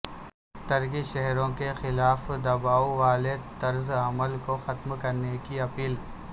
ترک شہریوں کے خلاف دباو والے طرزعمل کو ختم کرنے کی اپیل